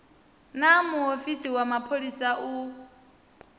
naa muofisi wa mapholisa u